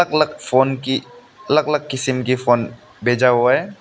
अलग फोन की अलग अलग किस्म की फोन भेजा हुआ है।